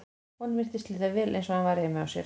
Honum virtist líða vel eins og hann væri heima hjá sér.